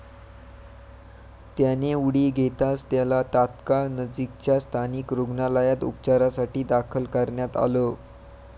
त्याने उडी घेताच त्याला तात्काळ नजिकच्या स्थानिक रुग्णालयात उपचारासाठी दाखल करण्यात आलं.